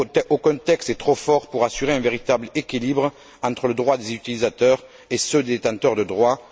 Aucun texte n'est trop fort pour assurer un véritable équilibre entre les droits des utilisateurs et ceux des détenteurs de droits.